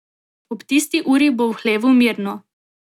Ob tisti uri bo v hlevu mirno.